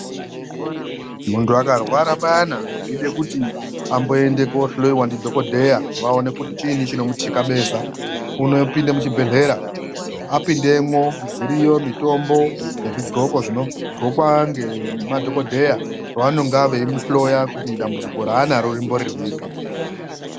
Muntu akarwara payana zveida kuti amboenda koohloiwa ndidhokodheya vaone kuti chiinyi chinomuthikabeza. Unopinda muchibhedhlera, apindemwo dziri yo mitombo nezvigloko zvinoglokwa ngemadhokodheya pavanonga veimuhloya kuti dambudziko raanaro rimbori ripi.